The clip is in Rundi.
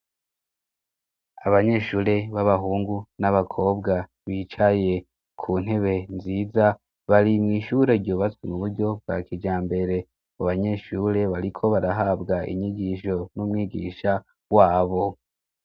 abanyeshure b'abahungu n'abakobwa bicaye ku ntebe nziza bari mwishure ryu batswe mu buryo bwa kija mbere mu banyeshure bariko barahabwa inyigisho n'umwigisha wabo